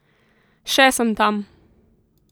Še sem tam.